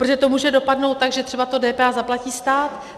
Protože to může dopadnout tak, že třeba to DPH zaplatí stát.